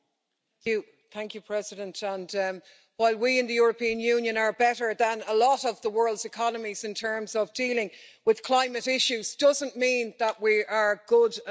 Madam President, while we in the European Union are better than a lot of the world's economies in terms of dealing with climate issues, it doesn't mean that we are good enough.